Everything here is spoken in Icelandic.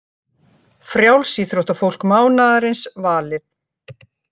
Frjálsíþróttafólk mánaðarins valið